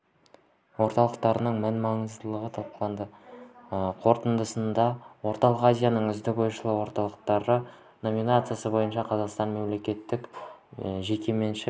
орталықтарының мән маңыздылығы талқыланды қорытындысында орталық азияның үздік ойшыл орталықтары номинациясы бойынша қазақстандық мемлекеттік-жеке меншік